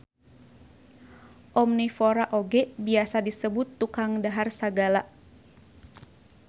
Omnivora oge biasa disebut tukang dahar sagala